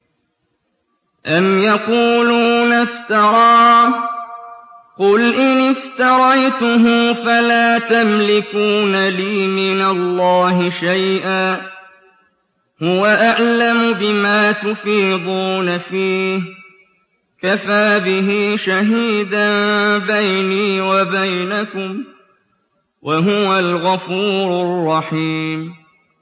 أَمْ يَقُولُونَ افْتَرَاهُ ۖ قُلْ إِنِ افْتَرَيْتُهُ فَلَا تَمْلِكُونَ لِي مِنَ اللَّهِ شَيْئًا ۖ هُوَ أَعْلَمُ بِمَا تُفِيضُونَ فِيهِ ۖ كَفَىٰ بِهِ شَهِيدًا بَيْنِي وَبَيْنَكُمْ ۖ وَهُوَ الْغَفُورُ الرَّحِيمُ